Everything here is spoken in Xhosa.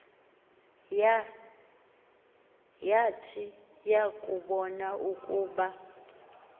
yat yakubon ukuba